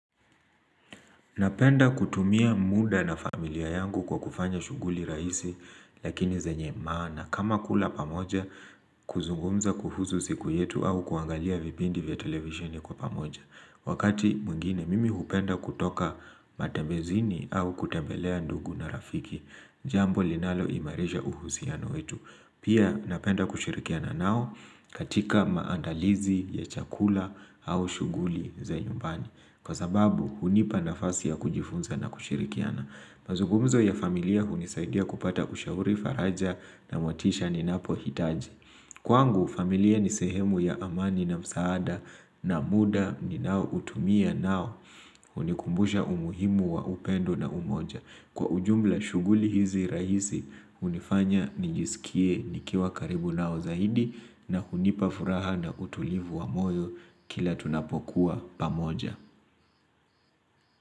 Napenda kutumia muda na familia yangu kwa kufanya shughuli rahisi lakini zenye maana kama kula pamoja, kuzungumza kuhusu siku yetu au kuangalia vipindi vya televisheni kwa pamoja. Wakati mwengine mimi hupenda kutoka matembezini au kutembelea ndugu na rafiki jambo linaloimarisha uhusiano wetu. Pia napenda kushirikiana nao katika maandalizi ya chakula au shughuli za nyumbani. Kwa sababu hunipa nafasi ya kujifunza na kushirikiana. Mazugumzo ya familia hunisaidia kupata ushauri, faraja na motisha ninapohitaji. Kwangu familia ni sehemu ya amani na msaada na muda ninaoutumia nao hunikumbusha umuhimu wa upendo na umoja. Kwa ujumla shughuli hizi rahisi hunifanya nijisikie nikiwa karibu nao zaidi na hunipa furaha na utulivu wa moyo kila tunapokuwa pamoja.